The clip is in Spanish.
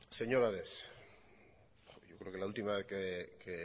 señor ares yo creo que la última vez que